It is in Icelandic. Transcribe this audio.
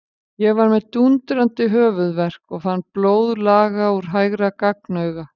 Ég var með dúndrandi höfuðverk og fann blóð laga úr hægra gagnauga.